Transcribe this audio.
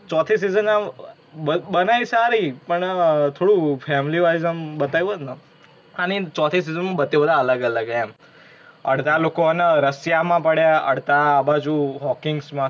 ચોથી season આમ બ-બનાઇ સારી પણ આ થોડુ family wise આમ બતાવયુ હોઇ ને તો. અને ચોથી season માં બધે બધા અલગ અલગ હે એમ. અડધા લોકો હે ને રશિયા માં પડ્યા, અડધા આ બાજુ Hawkings માં